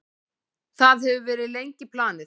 Það hefur verið lengi planið.